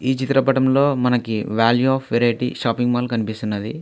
ఈ చిత్రపటంలో మనకి ఒక values of variety shopping mall కనిపిస్తున్నది.